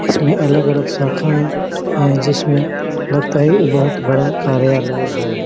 इसमें अलग-अलग शाखाए है जिसमे लगता है ये बहोत बड़ा कार्यालय है।